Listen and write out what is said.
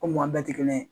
Komi maa bɛɛ tɛ kelen yen